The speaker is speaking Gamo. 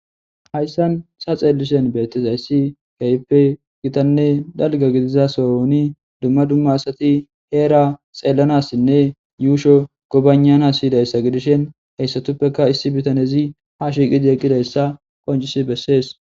hayssan sa xeellishen beettes ayssi kayppe gitanne dalga gidiza soni dumma dumma asati heera xeellanassinne yuusho gobanana siyidayssa gidishen heyssatuppeka issi bitanezi ha shiiqidi eqqidayssa qoncis bessees